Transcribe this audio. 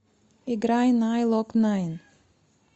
играй найнлокнайн